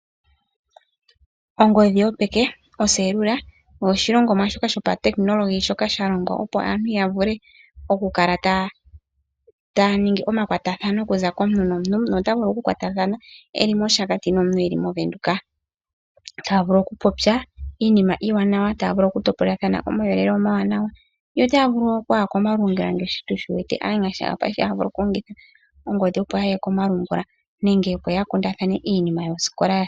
Ongodhi yopeke oselula osho oshilongomwa shopautekinolohi shoka sha longwa opo aantu yavule okukala yaya ningi omakwatathano okuza komuntu nomuntu nomuntu otavulu okukwatathana eli moshakati nomuntu eli movenduka.